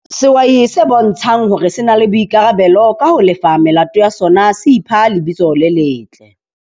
Sehwai se bontshang hore se na le boikarabelo ka ho lefa melato ya sona se ipha lebitso le letle.